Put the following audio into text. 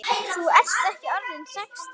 Þú ert ekki orðinn sextán!